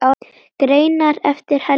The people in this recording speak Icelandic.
Greinar eftir Helga